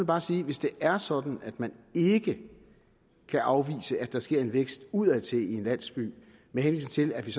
bare sige at hvis det er sådan at man ikke kan afvise at der sker en vækst udadtil i en landsby med henvisning til at vi